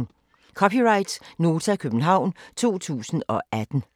(c) Nota, København 2018